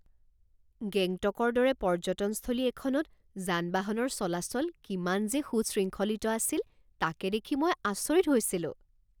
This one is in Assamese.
গেংটকৰ দৰে পৰ্যটনস্থলী এখনত যান বাহনৰ চলাচল কিমান যে সুশৃংখলিত আছিল তাকে দেখি মই আচৰিত হৈছিলোঁ